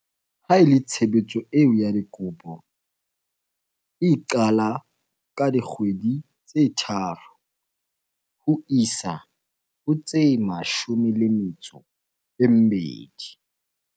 Ha e le tshebetso eo ya dikopo, e qala ka dikgwedi tse tharo ho isa ho tse mashome le metso e mmedi.